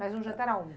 Mas em um jantar aonde?